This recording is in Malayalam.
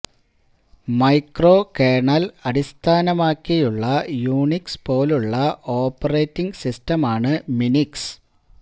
മൈക്രോ കേർണൽ അടിസ്ഥാനമാക്കിയുള്ള യുണിക്സ് പോലുള്ള ഒരു ഓപ്പറേറ്റിങ്ങ് സിസ്റ്റമാണ് മിനിക്സ്